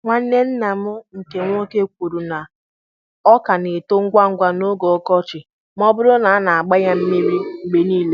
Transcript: Nwanne nna m nke nwoke kwuru na ọka na-eto ngwa ngwa n'oge ọkọchị ma ọ bụrụ na a na-agba ya mmiri mgbe niile.